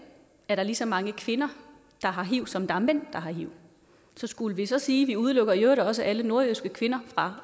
er der lige så mange kvinder der har hiv som der er mænd der har hiv så skulle vi så sige at vi udelukker i øvrigt også alle nordjyske kvinder fra